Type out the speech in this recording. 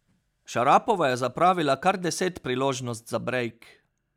Šarapova je zapravila kar deset priložnost za brejk.